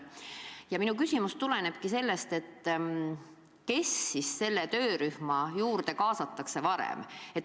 Ja sellest tulebki minu küsimus: kes selle töörühma juurde siis kõigepealt kaasatakse?